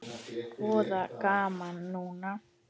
Voða gaman núna.